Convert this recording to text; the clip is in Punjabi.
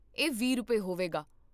ਇਹ ਵੀਹ ਰੁਪਏ, ਹੋਵੇਗਾ